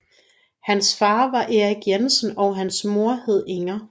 Hans far var Erik Jensen og hans mor hed Inger